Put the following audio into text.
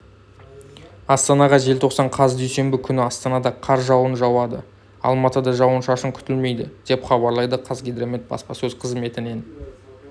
астана желтоқсан қаз дүйсенбі күні астанада қар жауын жауады алматыда жауын-шашын күтілмейді депхабарлайды қазгидромет баспасөз қызметінен